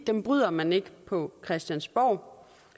bryder man ikke på christiansborg